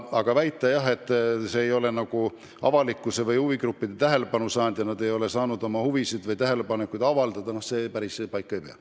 Aga väide, et eelnõu ei ole avalikkuse või huvigruppide tähelepanu saanud, et pole saadud oma tähelepanekuid avaldada – no see päris paika ei pea.